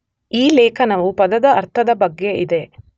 ಈ ಲೇಖನವು ಪದದ ಅರ್ಥದ ಬಗ್ಗೆ ಇದೆ.